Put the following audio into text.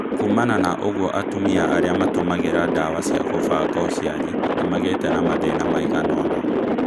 Kuumana na ũguo atumia arĩa matũmagĩra ndawa cía gũbanga ũciari nĩmagĩtĩ na mathĩna maiganona